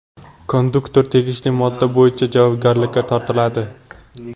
Konduktor tegishli modda bo‘yicha javobgarlikka tortiladi.